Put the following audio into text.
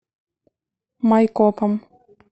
майкопом